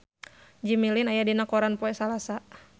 Jimmy Lin aya dina koran poe Salasa